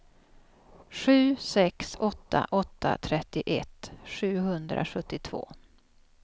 sju sex åtta åtta trettioett sjuhundrasjuttiotvå